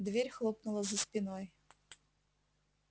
дверь хлопнула за спиной